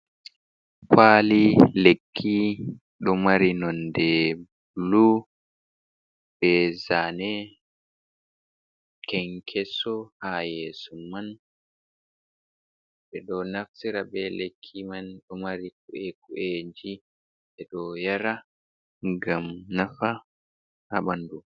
Ƙwali lekki ɗomari nonɗe ɓulu, ɓe zane kenkeso hayeso man ,ɓe ɗo naftira ɓe lekki man ɗomari ɓiɓɓeji , ɓe ɗo yara gam nafa ha ɓanɗu.